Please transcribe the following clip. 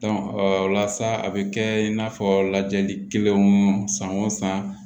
o la sa a bɛ kɛ in n'a fɔ lajɛli kelen san o san